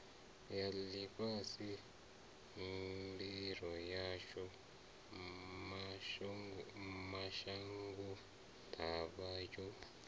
ḽifhasi mbilo yashu mashangoḓavha yo